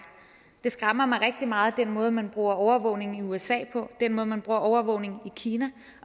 det skræmmer mig rigtig meget at den måde man bruger overvågning på i usa den måde man bruger overvågning på i kina